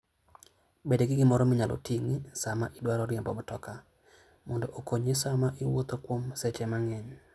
Bed gi gimoro minyalo ting'i sama idwaro riembo mtoka, mondo okonyi sama iwuotho kuom seche mang'eny.